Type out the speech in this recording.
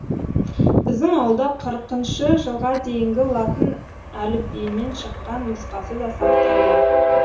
біздің ауылда қырықыншы жылға дейінгі латын әліпбиімен шыққан нұсқасы да сақтаулы